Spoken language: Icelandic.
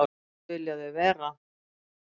Þetta vilja þau vera.